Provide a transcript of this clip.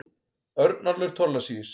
Örnólfur Thorlacius.